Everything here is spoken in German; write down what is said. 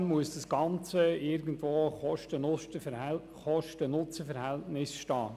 Trotzdem muss das Kosten-Nutzen-Verhältnis stimmen.